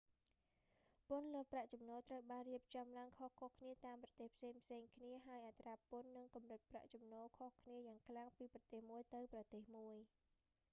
ពន្ធលើប្រាក់ចំណូល ត្រូវបានរៀបចំឡើងខុសៗគ្នាតាមប្រទេសផ្សេងៗគ្នា ហើយអត្រាពន្ធ និងកម្រិតប្រាក់ចំណូលខុសគ្នាយ៉ាងខ្លាំងពីប្រទេសមួយទៅប្រទេសមួយ